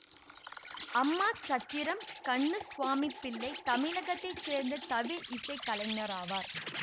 அம்மாசத்திரம் கண்ணுசுவாமி பிள்ளை தமிழகத்தை சேர்ந்த தவில் இசை கலைஞராவார்